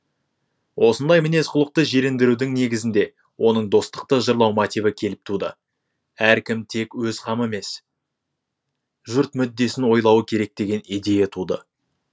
осындай мінез құлықты жирендірудің негізінде оның достықты жырлау мотиві келіп туды әркім тек өз қамы емес жұрт мүддесін ойлауы керек деген идея туды